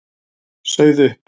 Sauð upp.